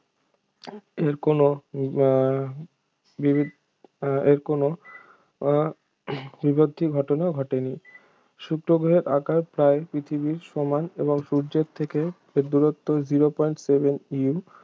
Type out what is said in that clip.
এর কোনো আহ বিভি এর কোনো আহ বিবর্ধি ঘটনা ঘটেনি শুক্র গ্রহের আকার প্রায় পৃথিবীর সমান এবং সূর্যের থেকে এর দূরত্ব zero pont seven U